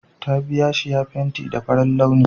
Ta biya shi ya fenti gidanta da farin launi